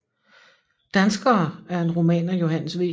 Danskere er en roman af Johannes V